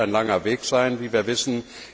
Das wird ein langer Weg sein, wie wir wissen.